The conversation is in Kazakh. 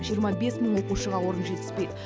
жиырма бес мың оқушыға орын жетіспейді